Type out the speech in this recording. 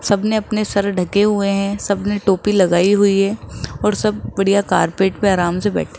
सब ने अपने सर ढके हुए है सब ने टोपी लगाई हुई है और सब बढ़िया कार्पेट पे आराम से बैठे --